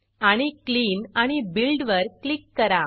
आणि clean clean आणि build build वर क्लिक करा